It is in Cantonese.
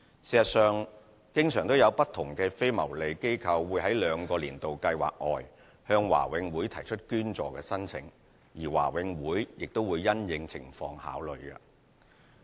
事實上，常有不同非牟利機構會在兩個"年度計劃"外向華永會提出捐助申請，而華永會亦會因應情況考慮。